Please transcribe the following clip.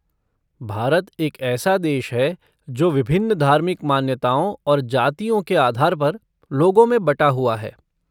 भारत एक ऐसा देश है जो विभिन्न धार्मिक मान्यताओं और जातियों के आधार पर लोगों में बटा हुआ है।